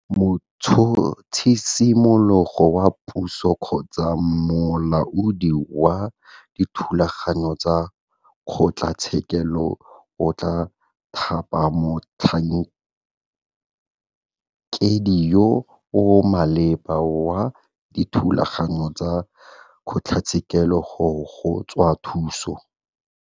Motšhotšhisimogolo wa puso kgotsa molaodi wa dithulaganyo tsa kgotlatshekelo o tla thapa motlhankedi yo o maleba wa dithulaganyo tsa kgotlatshekelo go go tswa thuso.